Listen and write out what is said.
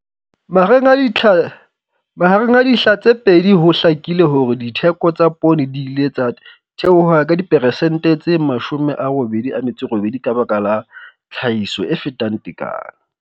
Mahareng a ditlha mahareng a dihla tse pedi ho hlakile hore ditheko tsa poone di ile tsa theoha ka diperesente tse 88 ka baka la tlhahiso e fetang tekano.